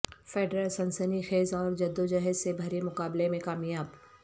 Federer سنسنی خیز اور جدوجہد سے بھرے مقابلہ میں کامیاب